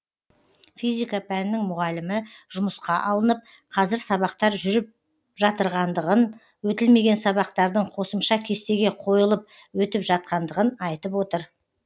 физика пәнінің мұғалімі жұмысқа алынып қазір сабақтар жүріп жатырғандығын өтілмеген сабақтардың қосымша кестеге қойылып өтіп жатқандығын айтып отыр